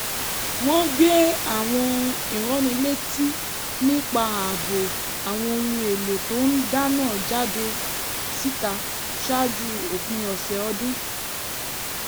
wọ́n gbé àwọn ìránnilétí nípa ààbò àwọn ohun èlò tó ń dáná jáde síta ṣáájú òpin ọ̀sẹ̀ ọdún